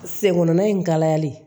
Fɛn kɔnɔnana in kalayali